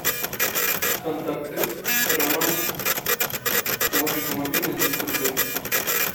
контакты роман положить на мобильный двести рублей